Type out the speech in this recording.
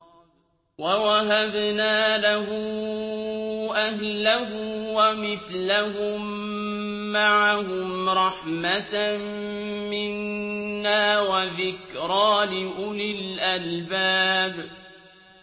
وَوَهَبْنَا لَهُ أَهْلَهُ وَمِثْلَهُم مَّعَهُمْ رَحْمَةً مِّنَّا وَذِكْرَىٰ لِأُولِي الْأَلْبَابِ